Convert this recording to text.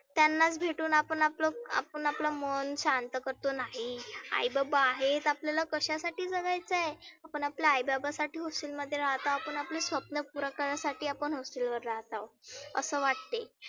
त्यांनाच भेटुन आपण आपलं आपण आपलं मनं शांत करतोना. नाही आई बाबा आहेत आपल्याला कशासाठी करायचं आहे. आपण आपल्या आई बाबा साठी hostel मध्ये राहता आपण आपले स्वप्न पुरं करासाठी आपण hostel वर राहताव. असं वाटते.